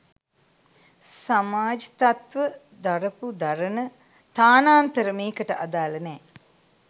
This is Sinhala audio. සමාජ් තත්ත්ව දරපු දරන තානාන්තර මේකට අදාල නෑ.